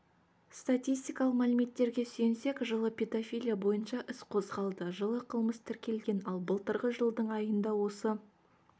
статистикалық мәліметтерге сүйенсек жылы педофилия бойынша іс қозғалды жылы қылмыс тіркелген ал былтырғы жылдың айында осы